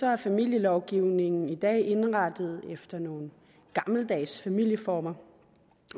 er familielovgivningen i dag indrettet efter nogle gammeldags familieformer